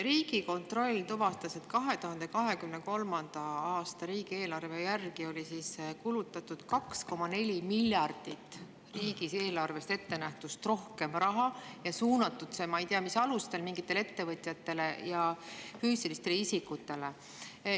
Riigikontroll tuvastas, et 2023. aasta riigieelarves ettenähtust oli kulutatud 2,4 miljardit eurot rohkem raha ja suunatud see – ma ei tea, mis alustel – mingitele ettevõtjatele ja füüsilistele isikutele.